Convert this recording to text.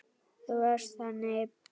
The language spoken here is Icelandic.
Þú varst þannig.